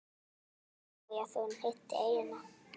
Ólafía Þórunn hitti eyjuna.